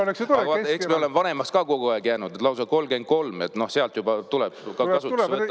Aga vaata, eks me ole vanemaks ka kogu aeg jäänud, lausa 33, sealt alates juba tuleb kasutusele võtta sellised asjad.